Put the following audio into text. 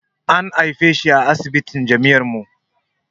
An haife shi a asibitin jami'ar mu